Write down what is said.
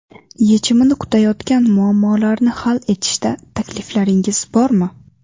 Yechimini kutayotgan muammolarni hal etishda takliflaringiz bormi?